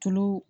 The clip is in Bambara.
Tulu